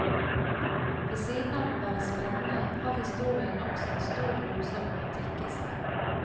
Ved siden av å være spennende, har historien også en stor dose romantikk i seg.